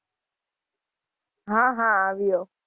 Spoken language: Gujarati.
હાં હાં આવ્યો.